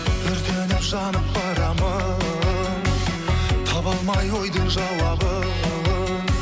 өртеніп жанып барамын таба алмай ойдың жауабын